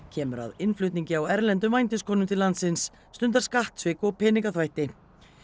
kemur að innflutningi á erlendum vændiskonum til landsins stundar skattsvik og peningaþvætti